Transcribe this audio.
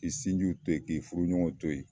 K'i sinjiw to ye k'i furu ɲɔgɔnw to ye.